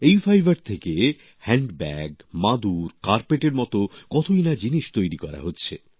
এই ফাইবার থেকে হ্যান্ডব্যাগ মাদুর কার্পেটের মতো কতই না জিনিস তৈরি করা হচ্ছে